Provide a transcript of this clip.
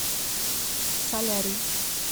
солярий